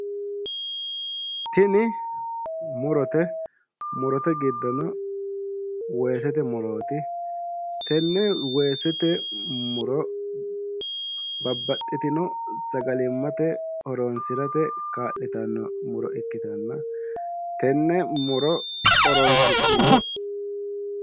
Tini murote murote giddono weesete murooti tenne weesete muro babbaxxitino sagalimmate horonsirate kaa'litanno muro ikkitanno tenne muro horonsi'niro